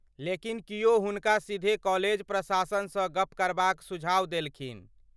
लेकिन, किओ हुनका सीधे कॉलेज प्रशासनसँ गप करबाक सुझाव देलखिन ।